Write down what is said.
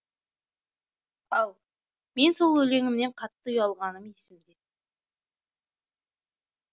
ал мен сол өлеңімнен қатты ұялғаным есімде